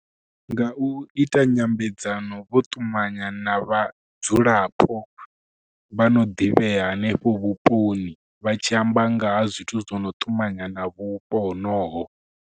Nga u ita nyambedzano vho ṱumanya na vhadzulapo vha no ḓivhea hanefho vhuponi, vha tshi amba nga ha zwithu zwo no ṱumanya na vhupo honoho.